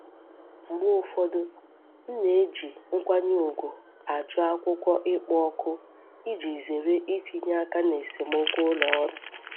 Mgbe ụfọdụ, m na eji nkwanye ùgwù ajụ akwụkwọ ịkpọ òkù iji zere itinye aka na esemokwu ụlọ ọrụ.